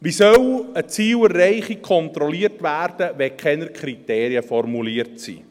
Wie soll eine Zielerreichung kontrolliert werden, wenn keine Kriterien formuliert sind?